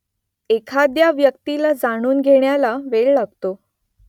एखाद्या व्यक्तीला जाणून घेण्याला वेळ लागतो